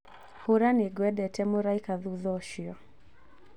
hura nigwendete mraika thutha ũcio